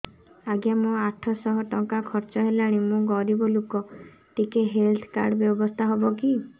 ଆଜ୍ଞା ମୋ ଆଠ ସହ ଟଙ୍କା ଖର୍ଚ୍ଚ ହେଲାଣି ମୁଁ ଗରିବ ଲୁକ ଟିକେ ହେଲ୍ଥ କାର୍ଡ ବ୍ୟବସ୍ଥା ହବ କି